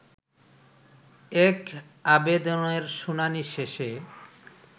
এক আবেদনের শুনানি শেষে